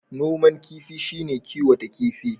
Noman kifi shi ne a kiwata kifi.